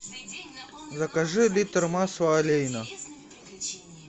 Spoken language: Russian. закажи литр масла олейна